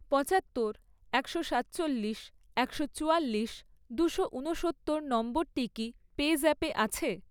পঁচাত্তর, একশো সাতচল্লিশ, একশো চুয়াল্লিশ, দুশো ঊনসত্তর নম্বরটি কি পেজ্যাপে আছে?